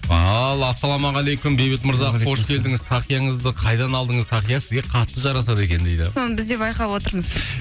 ал ассалаумағалейкум бейбіт мырза қош келдіңіз тақияңызды қайдан алдыңыз тақия сізге қатты жарасады екен дейді соны біз де байқап отырмыз